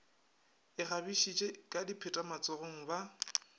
ikgabišitše ka dipheta matsogong ba